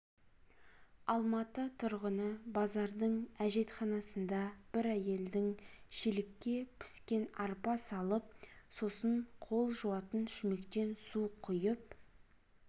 алматы тұрғыны базардың әжетханасында бір әйелдің шелекке піскен арпа салып сосын қол жуатын шүмектен су құйып